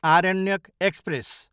Aranyaka express